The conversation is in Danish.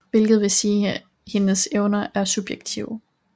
Hvilket vil sige at hendes evner er subjektive